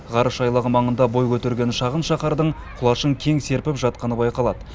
ғарыш айлағы маңында бой көтерген шағын шаһардың құлашын кең серпіп жатқаны байқалады